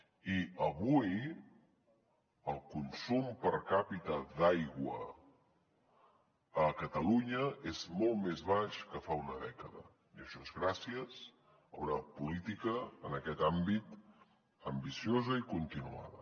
i avui el consum per capita d’aigua a catalunya és molt més baix que fa una dècada i això és gràcies a una política en aquest àmbit ambiciosa i continuada